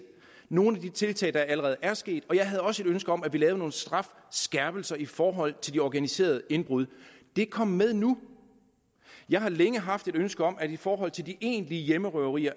nogle af de tiltag er allerede sket og jeg havde også et ønske om at vi lavede nogle strafskærpelser i forhold til de organiserede indbrud det er kommet med nu jeg har længe haft et ønske om at vi i forhold til de egentlige hjemmerøverier